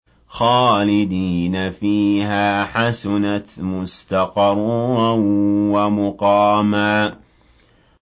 خَالِدِينَ فِيهَا ۚ حَسُنَتْ مُسْتَقَرًّا وَمُقَامًا